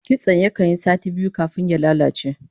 Kitso yakan yi sati biyu kafin ya lalace